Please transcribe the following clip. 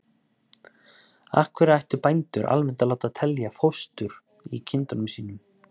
Af hverju ættu bændur almennt að láta telja fóstur í kindunum sínum?